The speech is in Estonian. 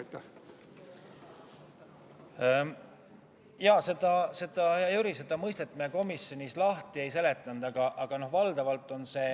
Seda mõistet, hea Jüri, me komisjonis lahti ei seletanud.